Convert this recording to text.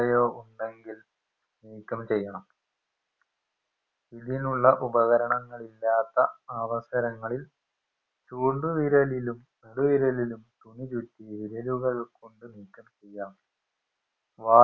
രയോ ഉണ്ടെങ്കിൽ നീക്കം ചെയ്യണം ഇതിനുള്ള ഉപകരണങ്ങൾ ഇല്ലാത്ത അവസരങ്ങളിൽ ചുണ്ടുവിരലിലും നടുവിരലിലും തുണി ചുറ്റി വിരലുകൾ കൊണ്ട് നീക്കം ചെയ്യാം